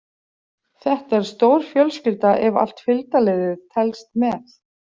Þetta er stór fjölskylda ef allt fylgdarliðið telst með.